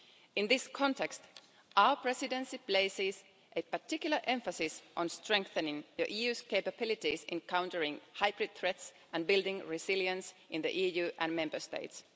In this context, our presidency places particular emphasis on strengthening the EU's capabilities in countering hybrid threats and building resilience in the EU and Member States.